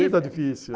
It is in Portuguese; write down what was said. Está difícil.